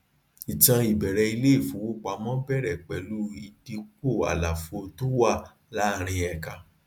ìtàn ìbẹrẹ iléìfowópamọ bẹrẹ pẹlú ìdípọ àlàfo tó wà láàárin ẹka